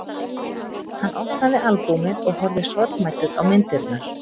Hann opnaði albúmið og horfði sorgmæddur á myndirnar.